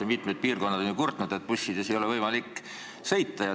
Ja mitmed piirkonnad on ju kurtnud, et bussid on nii täis, et seal ei ole võimalik sõita.